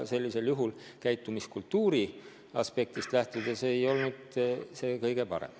Nii et käitumiskultuuri aspektist lähtudes ei olnud see kõige parem.